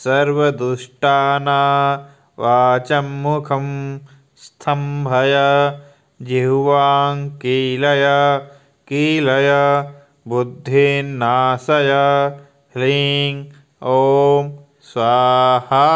सर्वदुष्टानावाचम्मुखं स्तम्भय जिह्वाङ्कीलय कीलय बुद्धिन्नाशय ह्लीं ॐ स्वाहा